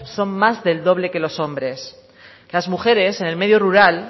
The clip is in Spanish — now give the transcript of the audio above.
son más del doble que los hombres las mujeres en el medio rural